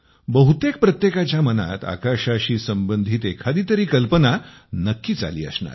बहुतेक प्रत्येकाच्या मनात आकाशाशी संबंधित एखादी तरी कल्पना नक्कीच आली असणार